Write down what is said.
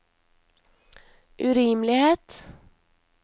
urimelighet